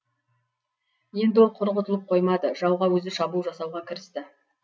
енді ол құр құтылып қоймады жауға өзі шабуыл жасауға кірісті